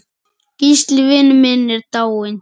Gísli vinur minn er dáinn.